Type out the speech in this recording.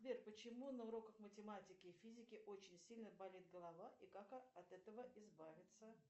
сбер почему на уроках математики и физики очень сильно болит голова и как от этого избавиться